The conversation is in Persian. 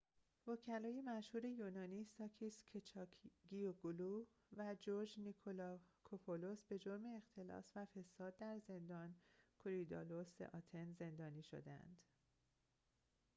وکلای مشهور یونانی ساکیس کچاگیوگلو و جورج نیکلاکوپولوس به جرم اختلاس و فساد در زندان کوریدالوس آتن زندانی شده اند